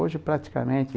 Hoje praticamente...